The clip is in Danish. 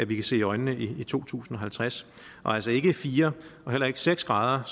vi kan se i øjnene i to tusind og halvtreds og altså ikke fire og heller ikke seks grader